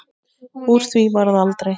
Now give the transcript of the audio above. Úr því varð aldrei.